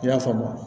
I y'a faamu